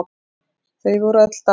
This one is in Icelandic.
Þau voru öll dáin.